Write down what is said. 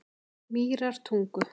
Mýrartungu